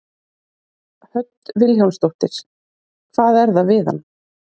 Hödd Vilhjálmsdóttir: Hvað er það við hann?